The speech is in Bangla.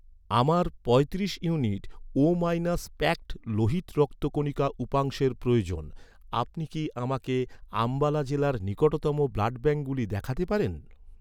আমার পঁয়তিরিশ ইউনিট ও মাইনাস প্যাকড লোহিত রক্তকণিকা উপাংশের প্রয়োজন, আপনি কি আমাকে আম্বালা জেলার নিকটতম ব্লাডব্যাঙ্কগুলি দেখাতে পারেন?